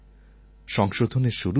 সংশোধনের শুরু হয়